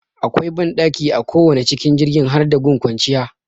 Akwai banɗaki a kowane cikin jirgin har da gun kwanciya